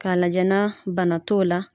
K'a lajɛ na bana t'o la.